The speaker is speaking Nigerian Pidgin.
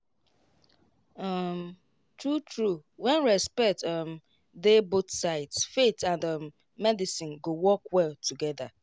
to understand wetin patient believe true true fit help talk and trust flow better.